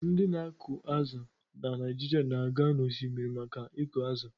Ndị na-akụ azụ̀ na Naijiria na-aga n’osimiri maka ịkụ azụ̀